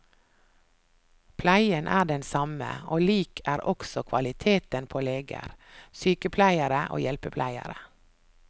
Pleien er den samme, og lik er også kvaliteten på leger, sykepleiere og hjelpepleiere.